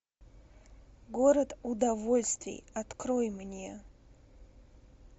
город удовольствий открой мне